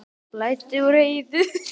Það blæddi úr Heiðu.